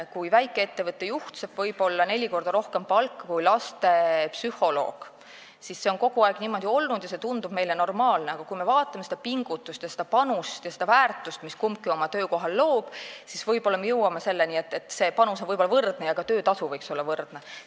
Kui väikeettevõtte juht saab võib-olla neli korda rohkem palka kui lastepsühholoog, siis see on kogu aeg niimoodi olnud ja tundub meile normaalne, aga kui me vaatame seda pingutust, panust ja väärtust, mida kumbki oma töökohal loob, siis me võib-olla jõuame mõttele, et see panus võib olla võrdne ja ka töötasu võiks olla võrdne.